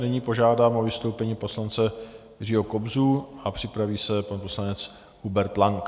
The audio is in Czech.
Nyní požádám o vystoupení poslance Jiřího Kobzu a připraví se pan poslanec Hubert Lang.